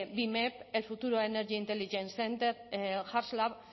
bimep el futuro energy intelligence center